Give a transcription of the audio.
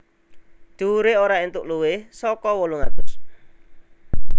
Dhuwuré ora entuk luwih saka wolung atus